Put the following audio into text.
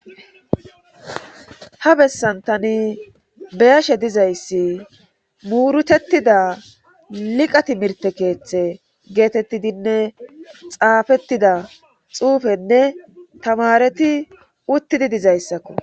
Ha bessan tani beyashe dizayssi muurutettida liqa timirtte keeththe geetettidinne xaafettida xuufenne tamareti uttidi dizayssakko.